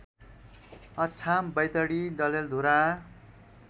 Achham Baitadi Dadeldhura